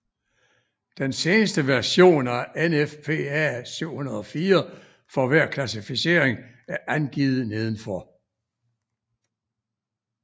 Den seneste version af NFPA 704 for hver klassificering er angivet nedenfor